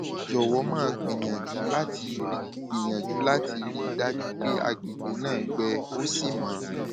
jọwọ máa gbìyànjú láti rí gbìyànjú láti rí i dájú pé àgbègbè náà gbẹ ó sì mọ